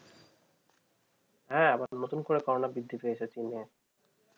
হ্যাঁ আবার নতুন করে corona বৃদ্ধি পেয়েছে চিনে